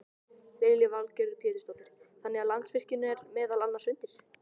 Lillý Valgerður Pétursdóttir: Þannig að Landsvirkjun er meðal annars undir?